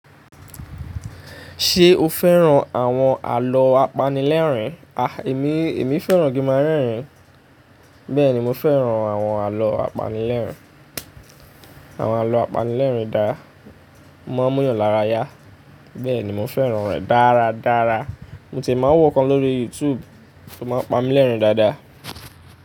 Ṣé o fẹ́ràn àwọn àlọ́ apanilẹ́rìn? A! Èmi, èmi fẹ́ràn kin má rẹ́rìn. Bẹ́ẹ̀ni, mọ fẹ́ràn àwọn àlọ́ apanilẹ́rìn. Àwọn àlọ́ apanilẹ́rìn dára. O máa ń múyàn lára yá. Bẹ́ẹ̀ni, mo fẹ́ràn rẹ̀ dára dára. Mo ti má ń wò ọ̀kan lórí YouTube tó máa ń pami lẹ́rìn dáadáa.